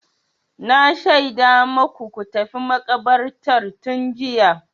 Na shaida maku ku tafi makabartar tun jiya.